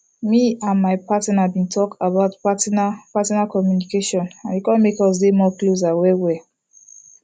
me and my partner been talk about partner partner communication and e come make us dey more closer well well